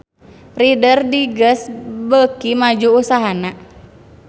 Reader Digest beuki maju usahana